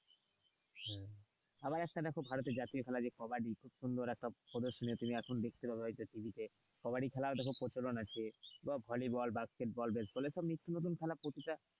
আবার একটা দেখো ভারতের জাতীয় খেলা কাবাডি, খুব একটা সুন্দর তুমি একটা দেখতে হবে TV তে কাবাডি খেলা খুব প্রচলন আছে বা ভলিবল বা বাস্কেটবল প্রতিটা,